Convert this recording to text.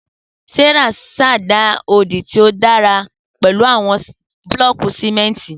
Sarah ṣẹda odi ti o lagbara pẹlu awọn bulọọki simenti